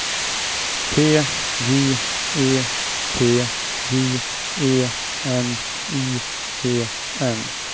T J E T J E N I E N